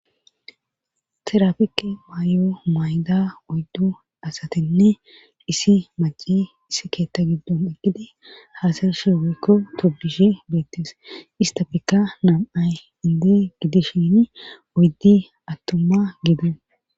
Terapike mayo mayda oyddu asatinne isi maci issi keetta giddon eqkidi haasarishi weykko togishe beettes istafekka nam7ay inde gidishini oyddi attuma gido